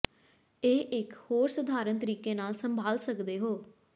ਇਹ ਇਕ ਹੋਰ ਸਧਾਰਨ ਤਰੀਕੇ ਨਾਲ ਸੰਭਾਲ ਸਕਦੇ ਹੋ